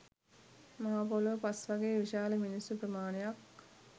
මහ පොළොවෙ පස් වගේ විශාල මිනිස්සු ප්‍රමාණයක්